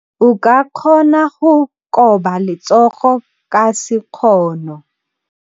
O ka kgona go koba letsogo ka sekgono.